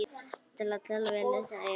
Það litla sem við eigum.